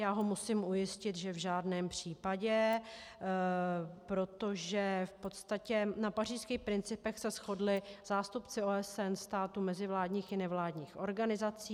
Já ho musím ujistit, že v žádném případě, protože v podstatě na pařížských principech se shodli zástupci OSN, států mezivládních i nevládních organizací.